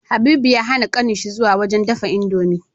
Habibu ya hAna kanin shi zuwa wajan me dafa indomie